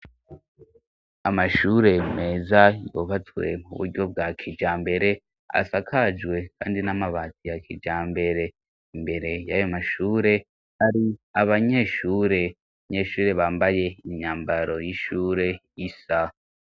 Amashure meza yubatswe mu buryo bwa kijambere asakajwe kandi n'amabati ya kijambere imbere yayo mashure hari abanyeshure bambaye imyambaro y'ishure isa.